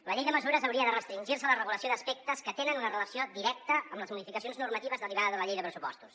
la llei de mesures hauria de restringir se a la regulació d’aspectes que tenen una relació directa amb les modificacions normatives derivades de la llei de pressupostos